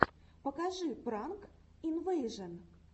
покажи пранк инвэйжэн